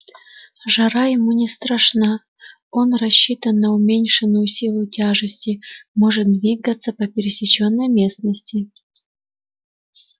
жара ему не страшна он рассчитан на уменьшенную силу тяжести может двигаться по пересечённой местности